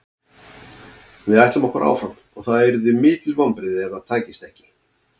Við ætlum okkur áfram og það yrðu mikil vonbrigði ef það tækist ekki.